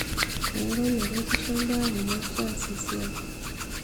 eero meretisho imbaa kumok taas esiai